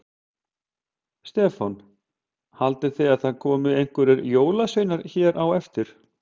Stefán: Haldið þið að það komi einhverjir jólasveinar hér á eftir?